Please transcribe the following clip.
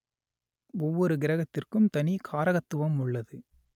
ஒவ்வொரு கிரகத்திற்கும் தனி காரகத்துவம் உள்ளது